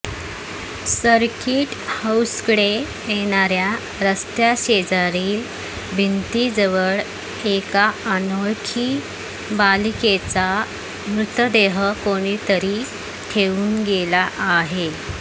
circuit हाऊसकडे येणाऱया रस्त्या शेजारील भिंतीजवळ एका अनोळखी बालिकेचा मृतदेह कोणी तरी ठेवून गेला आहे